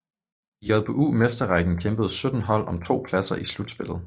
I JBU Mesterrækken kæmpede 17 hold om to pladser i slutspillet